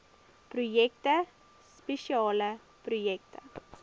projekte spesiale projekte